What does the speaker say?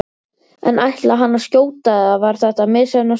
En ætlaði hann að skjóta eða var þetta misheppnað skot?